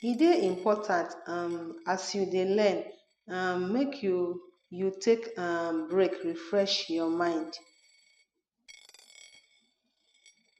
e de important um as you de learn um make you you take um break refresh your mind